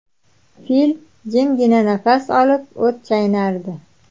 Fil jimgina nafas olib, o‘t chaynardi.